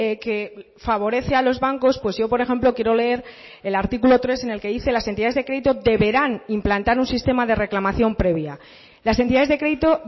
que favorece a los bancos pues yo por ejemplo quiero leer el artículo tres en el que dice las entidades de crédito deberán implantar un sistema de reclamación previa las entidades de crédito